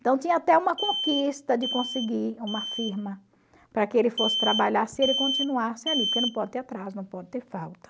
Então tinha até uma conquista de conseguir uma firma para que ele fosse trabalhar se ele continuasse ali, porque não pode ter atraso, não pode ter falta.